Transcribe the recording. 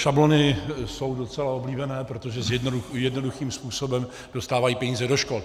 Šablony jsou docela oblíbené, protože jednoduchým způsobem dostávají peníze do škol.